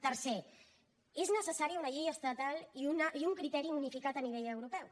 tercer es necessària una llei estatal i un criteri unificat a nivell europeu